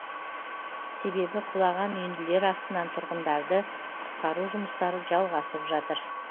себебі құлаған үйінділер астынан тұрғындарды құтқару жұмыстары жалғасып жатыр